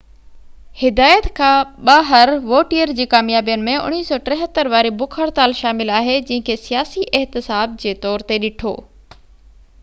هدايت کان ٻاهر ووٽيئر جي ڪاميابين ۾ 1973 واري بک هڙتال شامل آهي جنهن کي سياسي احتساب جي طور تي ڏٺو